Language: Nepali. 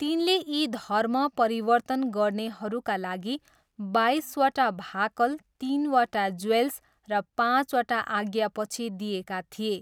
तिनले यी धर्म परिवर्तन गर्नेहरूका लागि बाइसवटा भाकल तिनवटा ज्वेल्स र पाँचवटा आज्ञापछि दिएका थिए।